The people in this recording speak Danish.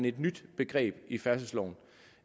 et nyt begreb i færdselsloven